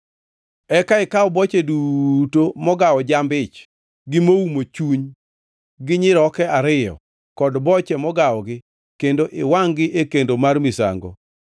Eka ikaw boche duto mogawo jamb-ich gi moumo chuny gi nyiroke ariyo kod boche mogawogi kendo iwangʼ-gi e kendo mar misango